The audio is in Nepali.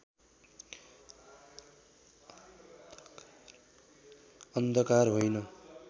अन्धकार होइन